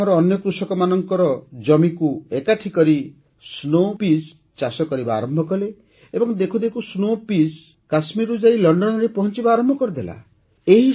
ସେ ଗ୍ରାମର ଅନ୍ୟ କୃଷକମାନଙ୍କ ଜମିକୁ ଏକାଠି କରି Snow Peas ଚାଷ କରିବା ଆରମ୍ଭ କଲେ ଏବଂ ଦେଖୁଦେଖୁ Snow Peas କାଶ୍ମୀରରୁ ଯାଇ ଲଣ୍ଡନରେ ପହଂଚିବା ଆରମ୍ଭ କରିଦେଲା